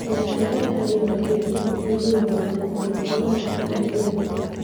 Kĩama gĩa arutani gĩa TSC gĩthuthuragia arutani arĩa maracaria wĩra